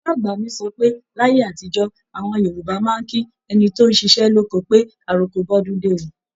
Bàbá-àgbà mi sọ pé láyé àtijó, àwọn Yorùbá máa ń kí ẹni tóún ṣiṣẹ́ lóko pé "àroko bọ́dúndé o"